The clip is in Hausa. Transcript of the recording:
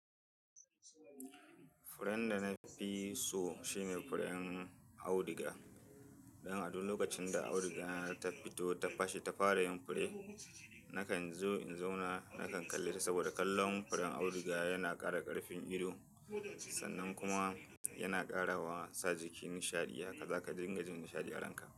Furen da na fi so, shine furen auduga. Dan a duk lokacin da auduga ta fito ta fashe ta fara yin fure, nakan zo in zauna nakan kalle ta. Saboda kallon furen auduga, yana kara karfin ido. Sannan kuma, yana kara sa jiki nishiadi yya. Haka zaka dinga jin nishadi a ranka.